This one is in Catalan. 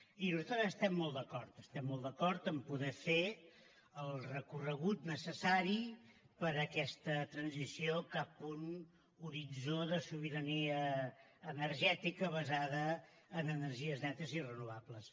i nosaltres hi estem molt d’acord estem d’acord a poder fer el recorregut necessari per a aquesta transició cap un horitzó de sobirania energètica basada en energies netes i renovables